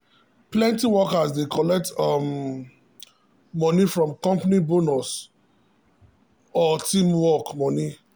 plenty workers dey collect um big moni from company bonus or team work um money. um